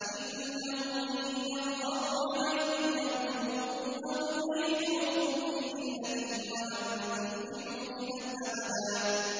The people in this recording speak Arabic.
إِنَّهُمْ إِن يَظْهَرُوا عَلَيْكُمْ يَرْجُمُوكُمْ أَوْ يُعِيدُوكُمْ فِي مِلَّتِهِمْ وَلَن تُفْلِحُوا إِذًا أَبَدًا